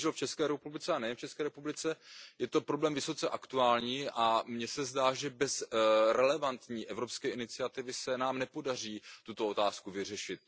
Bohužel v České republice a nejen v České republice je to problém vysoce aktuální a mně se zdá, že bez relevantní evropské iniciativy se nám nepodaří tuto otázku vyřešit.